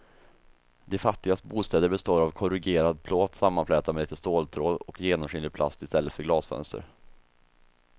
De fattigas bostäder består av korrugerad plåt sammanflätad med lite ståltråd och genomskinlig plast i stället för glasfönster.